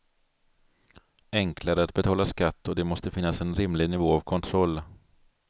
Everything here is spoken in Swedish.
Enklare att betala skatt och det måste finnas en rimlig nivå av kontroll.